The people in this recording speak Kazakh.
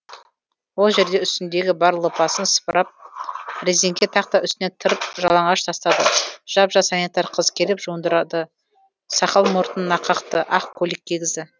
ол жерде үстіндегі бар лыпасын сыпырып резеңке тақта үстіне тыр жалаңаш тастады жап жас санитар қыз келіп жуындырды сақал мұртын қақты ақ көйлек кигізді